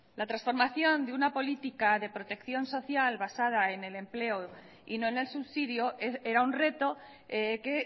la transformación de una política de protección social basada en el empleo y no en el subsidio era un reto que